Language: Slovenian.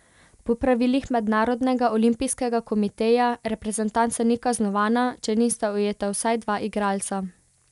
Po pravilih Mednarodnega olimpijskega komiteja reprezentanca ni kaznovana, če nista ujeta vsaj dva igralca.